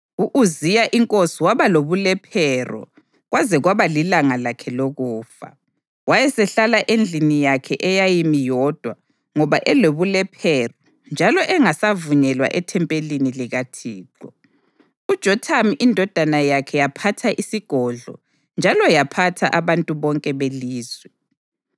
U-Uziya inkosi waba lobulephero kwaze kwaba lilanga lakhe lokufa. Wayesehlala endlini yakhe eyayimi yodwa ngoba elobulephero njalo engasavunyelwa ethempelini likaThixo. UJothamu indodana yakhe yaphatha isigodlo njalo yaphatha abantu bonke belizwe.